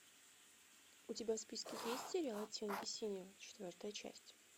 у тебя в списке есть сериал оттенки синего четвертая часть